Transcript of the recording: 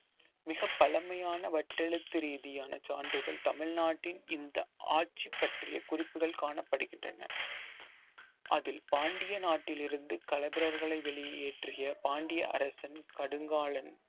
மிகப் பழமையான வட்டெழுத்து ரீதியான சான்றிதழ் தமிழ்நாட்டின் இந்த ஆட்சி பற்றிய குறிப்புகள் காணப்படுகின்றன அதில் பாண்டிய நாட்டிலிருந்து களப்பிரர்களை வெளியேற்றிய பாண்டிய அரசன் கடுங்காலன்